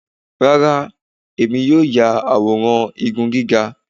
Rárá, èmi yóò ya àwòrán igun gíga.